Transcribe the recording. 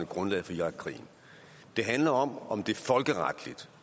grundlaget for irakkrigen det handler om om det folkeretligt